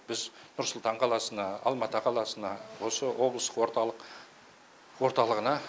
біз нұрсұлтан қаласына алматы қаласына осы облыс орталық орталығына